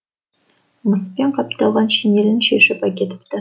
мыспен қапталған шинелін шешіп әкетіпті